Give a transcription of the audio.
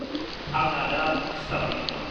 आंना दा staff meeting दं।